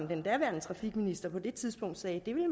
den daværende trafikminister på det tidspunkt sagde at